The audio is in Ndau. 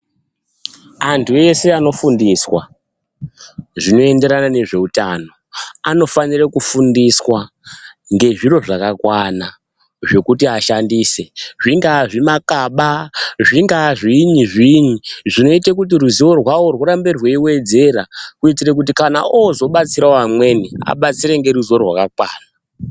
Antu ese ano fundiswa zvino enderana nezve utano ano fanire kufundiswa nge zviro zvakakwana zvekuti ashandise zvingaa zvima kaba zvingaa zvinyi zvinyi zvonoite kuti ruzivo rwavo hurambe rwei wedzera kuitire kuti kana ozo batsira vamweni abatsire nge ruzivo rwakakwana.